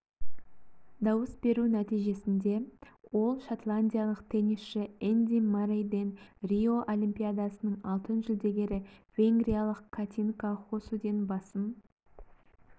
дауыс беру нәтижесінде ол шотландиялық теннисші энди маррейден рио олимпиадасының алтын жүлдегері венгриялық катинка хоссуден басым